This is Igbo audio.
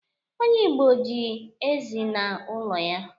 onye Igbo ji ezi na ulo ya